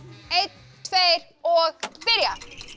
einn tveir og byrja